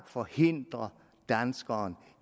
forhindrer danskeren